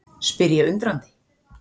spyr ég undrandi.